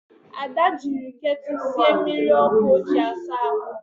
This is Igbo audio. Ada jiri ketulu sie mmiri ọkụ o ji asa ahụ